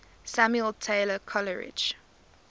samuel taylor coleridge